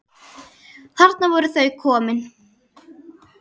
Þarna voru þau komin.